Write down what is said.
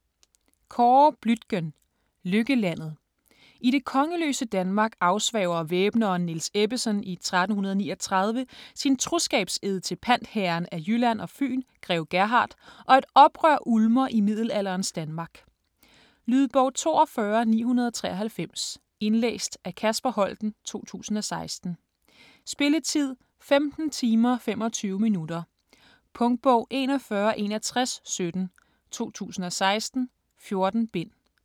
Bluitgen, Kåre: Lykkelandet I det kongeløse Danmark afsværger væbneren Niels Ebbesen i 1339 sin troskabsed til pantherren af Jylland og Fyn grev Gerhard, og et oprør ulmer i middelalderens Danmark. Lydbog 42993 Indlæst af Kasper Holten, 2016. Spilletid: 15 timer, 25 minutter. Punktbog 416117 2016. 14 bind.